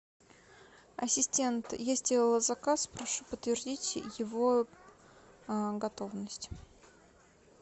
ассистент есть заказ прошу подтвердить его готовность